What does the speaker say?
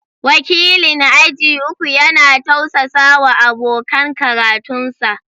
Wakilin aji uku yana tausasawa abokan karatunsa